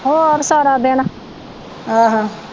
ਹੋਰ ਸਾਰਾ ਦਿਨ